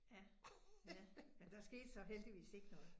Ja, ja men der skete så heldigvis ikke noget